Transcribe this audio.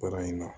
Baara in na